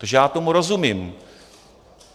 Takže já tomu rozumím.